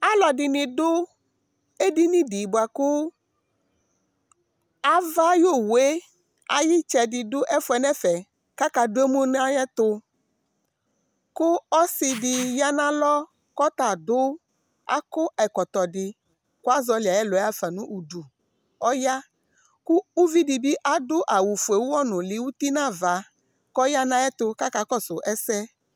alò ɛdini do edini di boa kò ava ayi owu yɛ ayi itsɛ di do ɛfu yɛ n'ɛfɛ k'aka do emu n'ayi ɛto kò ɔsi di ya n'alɔ k'ɔta adu akɔ ɛkɔtɔ di kò azɔli ayi ɛlɔ yɛ afa n'udu ɔya kò uvi di bi adu awu fue uwɔ nuli uti n'ava k'ɔya n'ayi ɛto k'ɔka kɔsu ɛsɛ